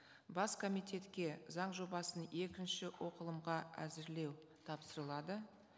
бас комитетке заң жобасын екінші оқылымға әзірлеу тапсырылады